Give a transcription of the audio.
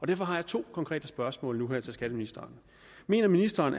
derfor har jeg to konkrete spørgsmål nu her til skatteministeren mener ministeren